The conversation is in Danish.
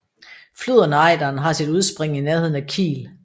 Floden Ejderen har sit udspring i nærheden af Kiel